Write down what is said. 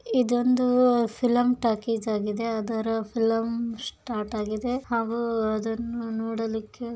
ಇದು ಒಂದು film talkies ಆಗಿದೆ ಅದರ ಫಿಲಂ ಸ್ಟಾರ್ಟ್ ಆಗಿದೆ ಹಾಗೂ ಅದನ್ನ ನೋಡಲಿಕ್ಕೆ --